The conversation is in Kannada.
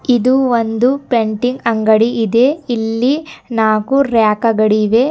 ಇದು ಒಂದು ಪೇಂಟಿಂಗ್ ಅಂಗಡಿ ಇದೆ ಇಲ್ಲಿ ನಾಲ್ಕು ರಾಕ ಗಡಿವೆ.